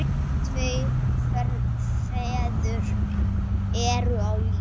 Tveir feður eru á lífi.